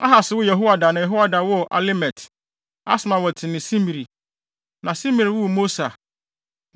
Ahas woo Yehoada na Yehoada woo Alemet, Asmawet ne Simri. Na Simri woo Mosa.